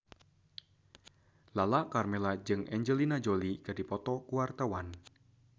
Lala Karmela jeung Angelina Jolie keur dipoto ku wartawan